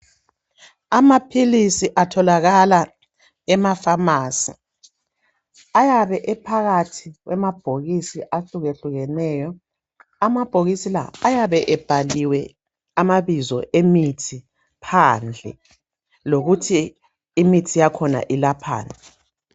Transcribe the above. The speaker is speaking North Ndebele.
Amapills atholakala emaphamacy ayabe ephakathi kwamabhokisi ahluke hlukeneyo amabhokisi la ayabe ebhaliwe amabizo emithi phandle lokuthi imithi yakhona ilaphani